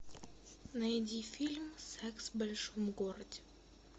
найди фильм секс в большом городе